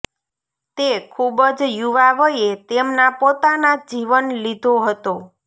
તે ખૂબ જ યુવા વયે તેમના પોતાના જીવન લીધો હતો